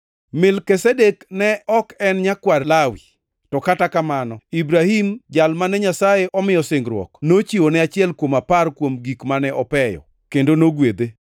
Melkizedek-ni ne ok en nyakwar Lawi, to kata kamano Ibrahim jal mane Nyasaye omiyo singruok nochiwone achiel kuom apar kuom gik mane opeyo, kendo nogwedhe.